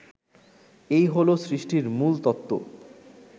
এই হলো সৃষ্টির মূলতত্ত্ব